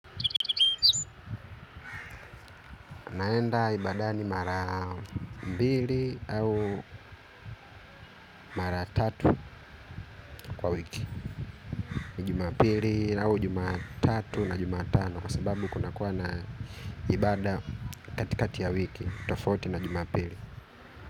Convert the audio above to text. Naenda ibadani mara mbili au mara tatu kwa wiki. Jumapili au jumatatu na jumatano. Kwa sababu kunakuwa na ibada katikati ya wiki. Tofauti na jumapili.